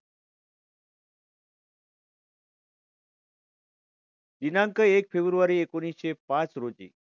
दिनांक एक फेब्रूवारी एकोणविशे पाच रोजी